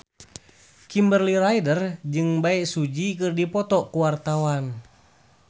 Kimberly Ryder jeung Bae Su Ji keur dipoto ku wartawan